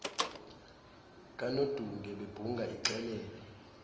kanodunge bebhunga ixelele